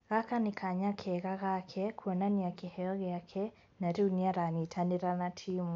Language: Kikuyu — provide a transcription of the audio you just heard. Gaka nĩ kanya kega gake kuonania kĩheyo gĩake na rĩu nĩ aranyitanĩra na timu".